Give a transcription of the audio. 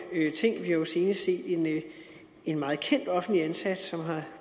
ting vi har jo senest set en meget kendt offentligt ansat som er